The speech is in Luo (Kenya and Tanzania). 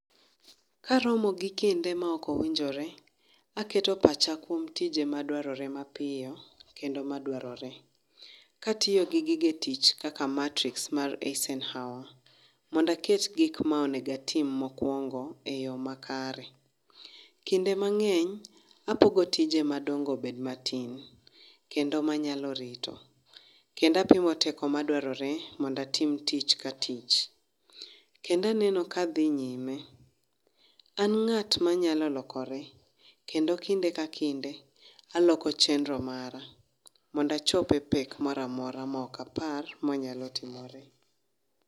Karomo gi kinde maok owinjore aketo pacha kuom tije madwarore mapiyo kendo madwarore katiyo gi gige tich kaka matrix mar Eisenhower mondo aket gikma onego atim mokuongo e yoo makare. Kinde mangeny apogo tije madongo obed matin kendo manyalo rito kendo apimo teko madwarore mondo atim tich ka tich. Kendo aneno ka adhi nyime, an ngat ma nyalo lokore kendo kinde ka kinde aloko chenro mara mondo achope pek moro amora maok apar manyalo timore